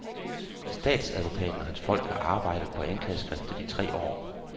Statsadvokaten og hans folk har arbejdet på anklageskriftet i tre år.